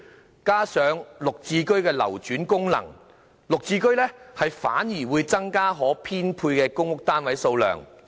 再加上"綠置居"的流轉功能，"綠置居"反而會增加可編配的公屋單位數量。